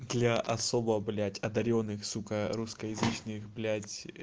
для особо блядь одарённых сука русскоязычных блядь